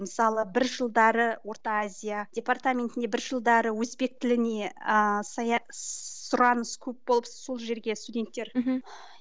мысалы бір жылдары орта азия департаментіне бір жылдары өзбек тіліне ыыы сұраныс көп болып сол жерге студенттер мхм